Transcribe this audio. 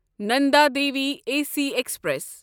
Nanda Devi A C express